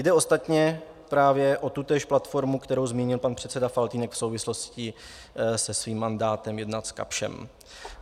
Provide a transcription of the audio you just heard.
Jde ostatně právě o tutéž platformu, kterou zmínil pan předseda Faltýnek v souvislosti se svým mandátem jednat s Kapschem.